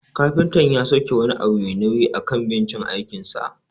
Kafinta ya sauke wani abu mai nauyi akan bencin aikinsa.